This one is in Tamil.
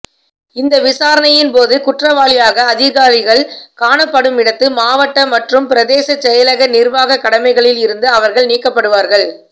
இந்த விசாரணையின்போது குற்றவாளியாக அதிகாரிகள் காணப்படுமிடத்துமாவட்ட மற்றும் பிரதேச செயலக நிர்வாக கடமைகளில் இருந்து அவர்கள் நீக்கப்படுவார்கள்